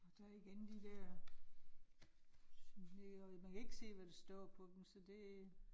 Der igen de der. Man kan ikke se, hvad der står på dem, så det